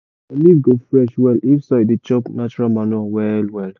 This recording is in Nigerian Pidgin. your leaf go fresh well if soil dey chop natural manure well well.